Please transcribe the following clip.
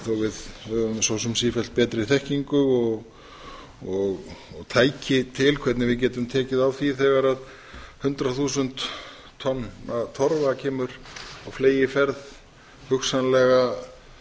við höfum svo sem sífellt betri þekkingu og tæki til hvernig við getum tekið á því þegar hundrað þúsund tonna torfa kemur á fleygiferð hugsanlega